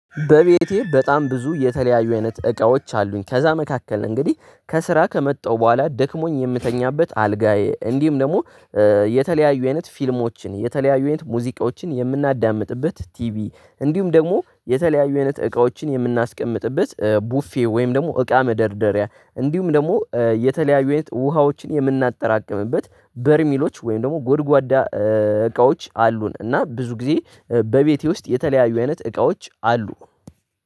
በቤቴ በጣም ብዙ የተለያየ አይነት እቃዎች አሉኝ። ከዛ መካከል እንግዲህ ከስራ ከመጣው በኋላ ደክሞኝ የምተኛበት አልጋዬ እንዲሁም ደግሞ የተለያዩ አይነት ፊልሞች፣ የተለያዩ አይነት ሙዚቃዎችን የምናዳምጥበት ቲቪ እንዲሁም ደግሞ የተለያዩ አይነት እቃዎችን የምናስቀምጥበት ቡፌ ወይም ደግሞ እቃ መደርደሪያ እንዲሁም ደግሞ የተለያዩ አይነት ውሃዎችን የምናጠራቅምበት በርሚሎች ወይም ደግሞ ጉድጓዳ እቃዎች አሉን እና ብዙ ጊዜ በቤቴ ውስጥ የተለያዩ አይነት እቃዎች አሉ።